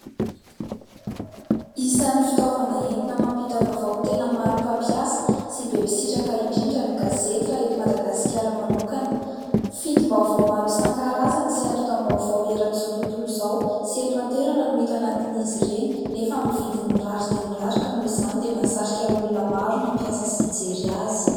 Isany fitaovana entina mampita vavao tena maro pampiasa sy be mpisitraka indrindra ny gazety raha eto madagasikara manokana. Fitim_ mbaovao maro isan-karazany sy atotam_mbaovao eran'izao tontolo izao sy eto antoerana no hita anatin'izy ireny nefa amin" n'y vidiny mirary dia mirary ka noho izany dia mahasarika olona maro ny hampiasa sy hijery azy.